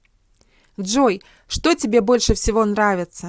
джой что тебе больше всего нравится